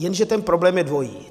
Jenže ten problém je dvojí.